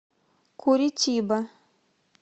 куритиба